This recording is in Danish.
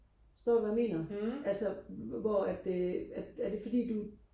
forstår du hvad jeg mener altså hvor at øh er er det fordi at du